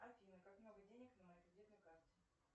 афина как много денег на моей кредитной карте